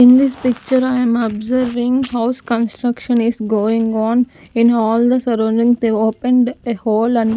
in this picture i am observing house construction is going on in all the surroundings they opened a hole and --